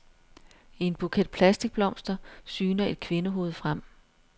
I en buket plastikblomster syner et kvindehoved frem.